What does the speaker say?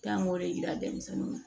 K'an k'o de yira denmisɛnnuw na